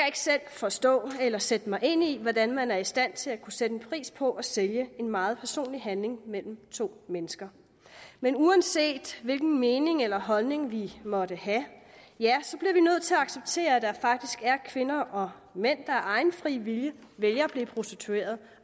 ikke selv forstå eller sætte mig ind i hvordan man er i stand til at kunne sætte en pris på at sælge en meget personlig handling mellem to mennesker men uanset hvilken mening eller holdning vi måtte have bliver vi nødt til at acceptere at der faktisk er kvinder og mænd der af egen fri vilje vælger at blive prostituerede